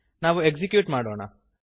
ನಾವು ಎಕ್ಸಿಕ್ಯೂಟ್ ಮಾಡೋಣ